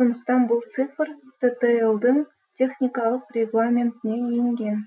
сондықтан бұл цифр ттл дың техникалық регламентіне енген